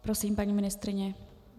Prosím, paní ministryně.